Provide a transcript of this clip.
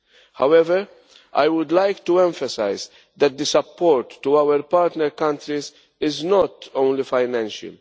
However, I would like to emphasise that the support to our partner countries is not only financial.